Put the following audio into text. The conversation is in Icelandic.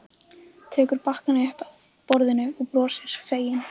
Tekur bakkann upp af borðinu og brosir, fegin.